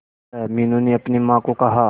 मीनू ने अपनी मां को कहा